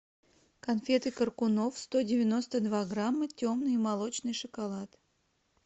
конфеты коркунов сто девяносто два грамма темный и молочный шоколад